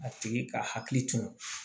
A tigi ka hakili to